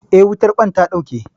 Eh, wutar ƙwan ta ɗauke.